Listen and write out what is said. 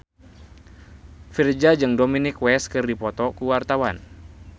Virzha jeung Dominic West keur dipoto ku wartawan